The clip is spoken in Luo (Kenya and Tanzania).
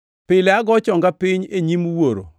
Pile ago chonga piny e nyim Wuoro,